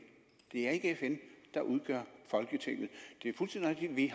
det er ikke fn der udgør folketinget det er fuldstændig rigtigt at vi